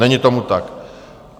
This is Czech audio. Není tomu tak.